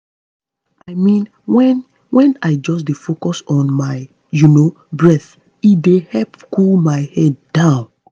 i mean when when i just dey focus on my you know breath e dey help cool my head down